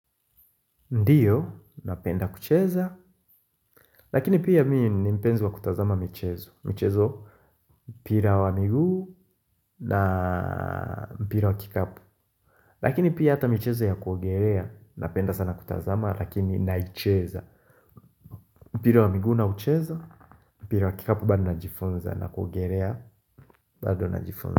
Ndio, napenda kucheza, lakini pia mimi ni mpenzi wa kutazama michezo, michezo mpira wa miguu na mpira wa kikapu. Lakini pia hata michezo ya kuogelea, napenda sana kutazama lakini naicheza. Mpira wa miguu naucheza, mpira wa kikapu bado najifunza na kuogelea bado najifunza.